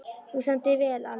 Þú stendur þig vel, Ali!